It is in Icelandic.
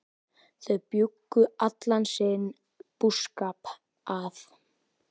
Þau bjuggu allan sinn búskap að